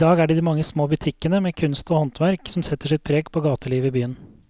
I dag er det de mange små butikkene med kunst og håndverk som setter sitt preg på gatelivet i byen.